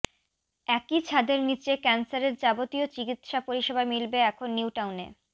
একই ছাদের নীচে ক্যান্সারের যাবতীয় চিকিৎসা পরিষেবা মিলবে এখন নিউটাউনে